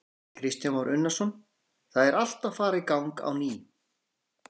Kristján Már Unnarsson: Það er allt að fara í gang á ný?